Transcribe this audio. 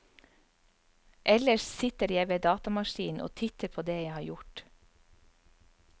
Ellers sitter jeg ved datamaskinen og titter på det jeg har gjort.